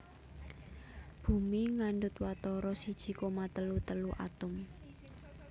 Bumi ngandhut watara siji koma telu telu atom